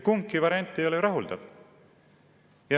Kumbki variant ei ole rahuldav.